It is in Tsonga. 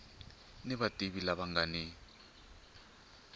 ni vativi lava nga ni